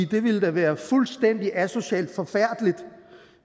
det ville da være fuldstændig asocialt og forfærdeligt